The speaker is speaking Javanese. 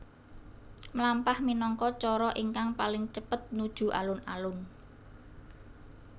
Mlampah minangka cara ingkang paling cepet nuju alun alun